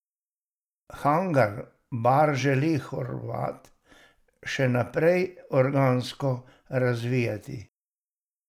Hangar bar želi Horvat še naprej organsko razvijati.